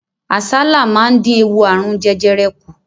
Àsálà máa dín ewu ààrùn jẹjẹrẹ kù.